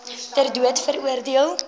ter dood veroordeel